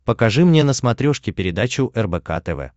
покажи мне на смотрешке передачу рбк тв